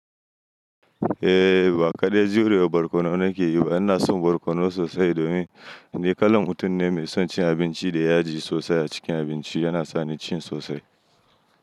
Eh baƙa ɗai juriya barkono nake yi ba. Ina son barkono sosai domin ni kalan mutum ne mai son cin abinci da yaji sosai a cikin abinci yana sa ni cin sosai.